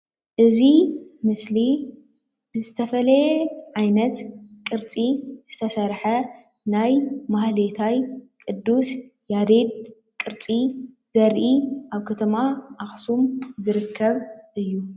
እዚ ምስሊ ብዝተፈለየ ዓይነት ቅርፂ ዝተሰርሐ ናይ ማህሌታይ ቅዱስ ያሬድ ቅርፂ ዘርኢ ኣብ ከተማ ኣክሱም ዝርከብ እዩ፡፡